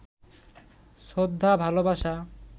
শ্রদ্ধা, ভালবাসা